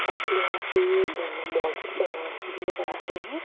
साथ ही यहाँ पे अ मॉल्स भी नजर आ रही हैं।